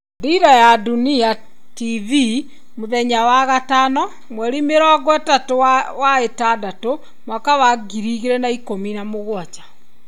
Dira ya Dunia TV mũthenya wa gatano 30.06.2017.